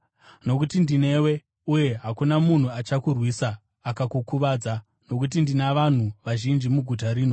Nokuti ndinewe, uye hakuna munhu achakurwisa akakukuvadza, nokuti ndina vanhu vazhinji muguta rino.”